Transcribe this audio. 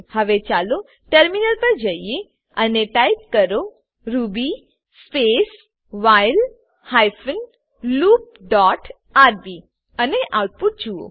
હવે ચાલો ટર્મિનલ પર જઈએ અને ટાઈપ કરો Ruby space while hyphen loop dot RB Ruby space while hyphen loop dot RB અને આઉટપુટ જોઈએ